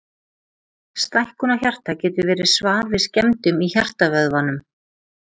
stækkun á hjarta getur verið svar við skemmdum í hjartavöðvanum